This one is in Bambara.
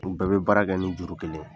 U bɛɛ bɛ baara kɛ ni juru kelen ye.